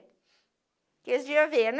Porque eles iam ver, né?